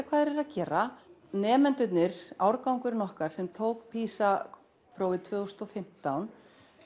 hvað þeir eru að gera nemendurnir árgangurinn okkar sem að tók PISA prófið tvö þúsund og fimmtán